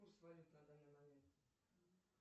курс валют на данный момент